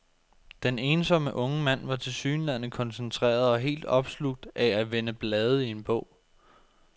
Den ensomme unge mand var tilsyneladende koncentreret og helt opslugt af at vende blade i en bog.